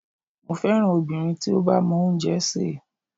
Mo féràn obìnrin tí ó bá mọ oúnjẹ sè.